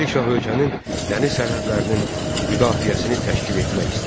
Nadir Şah ölkənin dəniz sərhədlərinin müdafiəsini təşkil etmək istəyirdi.